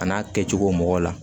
A n'a kɛcogo mɔgɔw la